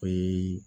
O ye